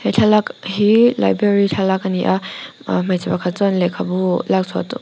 he thlalak hi library thlalak ani a ah hmeichhe pakhat chuan lehkha bu lakchhuah tum--